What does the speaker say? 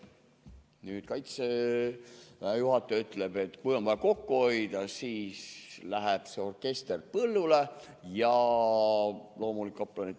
Nüüd Kaitseväe juhataja ütleb, et kui on vaja kokku hoida, siis läheb orkester põllule ja loomulikult ka kaplanid.